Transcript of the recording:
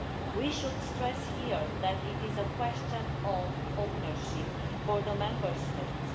We should stress here that it is a question of ownership for the Member States.